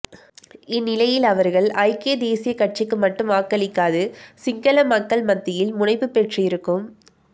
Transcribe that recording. இந்நிலையில் அவர்கள் ஐக்கிய தேசியக் கட்சிக்கு மட்டும் வாக்களிக்காது சிங்கள மக்கள் மத்தியில் முனைப்பு பெற்றிருக்கும்